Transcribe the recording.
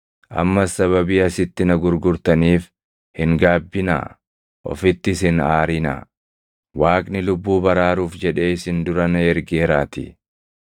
Ammas sababii asitti na gurgurtaniif hin gaabbinaa; ofittis hin aarinaa. Waaqni lubbuu baraaruuf jedhee isin dura na ergeeraatii.